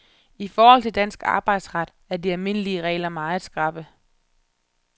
I forhold til dansk arbejdsret er de almindelige regler meget skrappe.